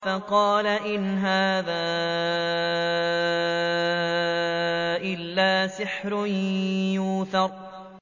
فَقَالَ إِنْ هَٰذَا إِلَّا سِحْرٌ يُؤْثَرُ